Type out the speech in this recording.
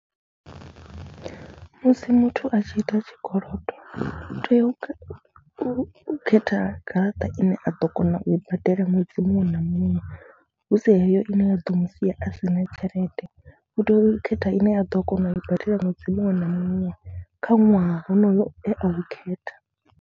Musi muthu a tshi ita tshikolodo u tea u u khetha garaṱa ine a ḓo kona u i badela ṅwedzi muṅwe na muṅwe hu si heyo ine ya ḓo mu sia a si na tshelede, u tea u khetha ine a ḓo kona u i badela ṅwedzi muṅwe na muṅwe kha ṅwaha honoyo e a u khetha.